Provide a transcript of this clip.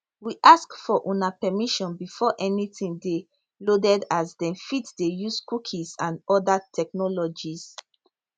we ask for una permission before anytin dey loaded as dem fit dey use cookies and oda technologies